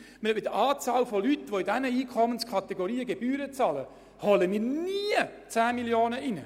Mit der Anzahl Leute, die in diesen Einkommenskategorien Gebühren zahlen, nehmen wir niemals zusätzlich 10 Mio. Franken ein.